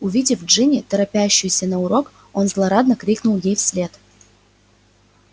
увидев джинни торопящуюся на урок он злорадно крикнул ей вслед